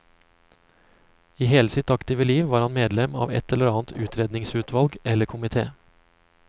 I hele sitt aktive liv var han medlem av et eller annet utredningsutvalg eller komité.